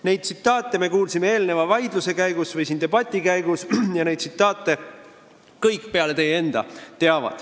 Neid tsitaate me kuulsime eelneva debati käigus ja neid tsitaate teavad kõik peale teie enda.